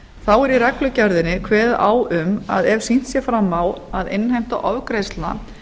þá er í reglugerðinni kveðið á um að ef sýnt er fram á að innheimta ofgreiðslna